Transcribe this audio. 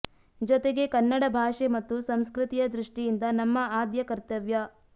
ಜೊತೆಗೆ ಕನ್ನಡ ಭಾಷೆ ಮತ್ತು ಸಂಸ್ಕೃತಿಯ ದೃಷ್ಟಿಯಿಂದ ನಮ್ಮ ಆದ್ಯ ಕರ್ತವ್ಯ